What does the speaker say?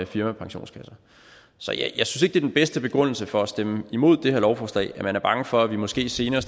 firmapensionskasser så jeg synes er den bedste begrundelse for at stemme imod det her lovforslag altså at man er bange for at vi måske senere